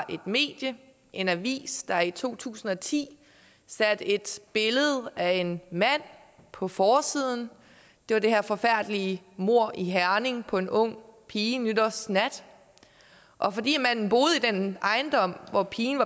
et medie en avis der i to tusind og ti satte et billede af en mand på forsiden det var det her forfærdelige mord i herning på en ung pige nytårsnat og fordi manden boede i den ejendom hvor pigen